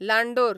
लांडोर